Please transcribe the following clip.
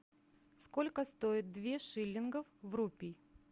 сколько стоит две шиллингов в рупий